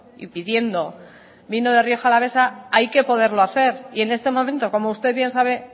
y pidiendo vino de rioja alavesa hay que poderlo hacer y en este momento como usted bien sabe